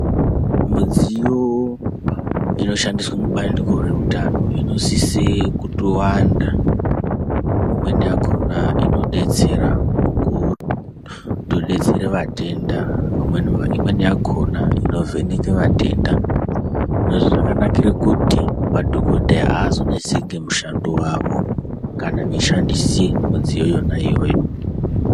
Midziyo inoshandiswa mubandiko reutano inosise kutowanda imweni yakona inodetsera mukutobetsera vatenda, imweni yakona inovheneka vatenda, izvi zvakanakira kuti madhokoteya aazonetseke mushando wavo kana vechishandise midziyo yakona iyoyo.